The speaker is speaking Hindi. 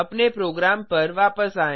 अपने प्रोग्राम पर वापस आएँ